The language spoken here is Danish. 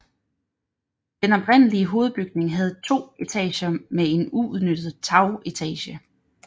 Den oprindelige hovedbygning havde 2 etager med en uudnyttet tagetage